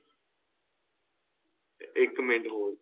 ਇੱਕ minute hold